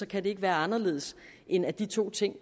kan det ikke være anderledes end at de to ting